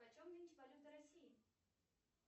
почем нынче валюта россии